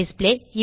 display